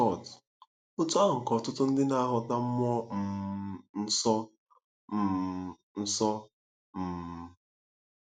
Scott: Otú ahụ ka ọtụtụ ndị na-aghọta mmụọ um nsọ um. nsọ um.